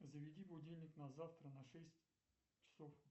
заведи будильник на завтра на шесть часов